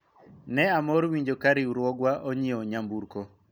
ne amor winjo ka riwruogwa onyiewo nyamburko